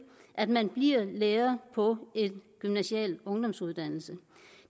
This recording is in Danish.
at man bliver lærer på en gymnasial ungdomsuddannelse